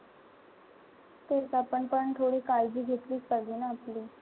तेच आपण पण थोडी काळजी घेतलीच पाहिजे ना आपली.